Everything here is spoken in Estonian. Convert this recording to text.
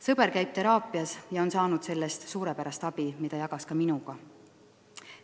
Sõber käib teraapias ja on saanud sellest suurepärast abi, mida jagab ka minuga.